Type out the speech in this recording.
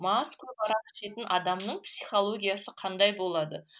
мас көп арақ ішетін адамның психологиясы қандай болады